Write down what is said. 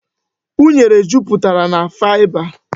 Unere jupụtara na faịba.